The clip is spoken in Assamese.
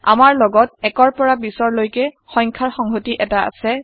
আমাৰ লগত ১ৰ পৰা ২০ৰ লৈকে সংখ্যাৰ সংহতি এটা আছে